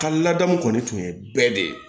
Ka ladamu kɔni tun ye bɛɛ de ye